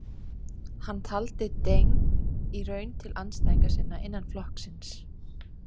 Hann taldi Deng í raun til andstæðinga sinna innan flokksins.